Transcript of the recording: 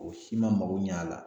O si ma mako ɲɛ a la.